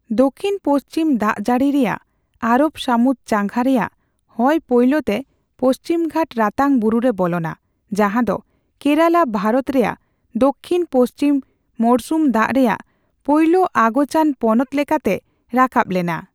ᱫᱚᱠᱷᱤᱱᱼᱯᱚᱥᱪᱷᱤᱢ ᱫᱟᱜᱼᱡᱟᱹᱲᱤ ᱨᱮᱭᱟᱜ ᱟᱨᱚᱵ ᱥᱟᱹᱢᱩᱫ ᱪᱟᱸᱜᱟ ᱨᱮᱭᱟᱜ ᱦᱚᱭ ᱯᱳᱭᱞᱳᱛᱮ ᱯᱚᱥᱪᱷᱤᱢᱜᱷᱟᱴ ᱨᱟᱛᱟᱝ ᱵᱩᱨᱩ ᱨᱮ ᱵᱚᱞᱚᱱᱟ, ᱡᱟᱦᱟᱫᱚ ᱠᱮᱨᱟᱞᱟ ᱵᱷᱟᱨᱚᱛ ᱨᱮᱭᱟᱜ ᱫᱚᱠᱠᱷᱤᱱᱼᱯᱚᱥᱪᱷᱤᱢ ᱢᱚᱲᱥᱩᱢ ᱫᱟᱜ ᱨᱮᱭᱟᱜ ᱯᱳᱭᱞᱳ ᱟᱹᱜᱚᱪᱟᱱ ᱯᱚᱱᱚᱛ ᱞᱮᱠᱟᱛᱮ ᱨᱟᱠᱟᱵ ᱞᱮᱱᱟ ᱾